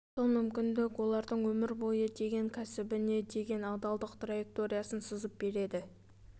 сол мүмкіндік олардың өмір бойы деген кәсбііне деген адалдық траекториясын сызып береді